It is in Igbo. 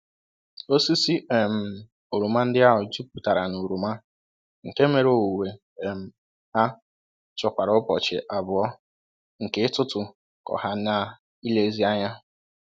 Osisi um oroma ndị ahụ jupụtara na oroma, nke mere owuwe um ha chọkwara ụbọchị abụọ nke ịtụtụ kọ ha n'ilezi anya.